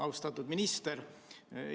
Austatud minister!